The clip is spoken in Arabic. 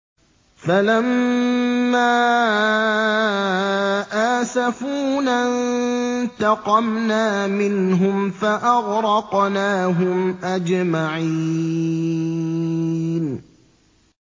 فَلَمَّا آسَفُونَا انتَقَمْنَا مِنْهُمْ فَأَغْرَقْنَاهُمْ أَجْمَعِينَ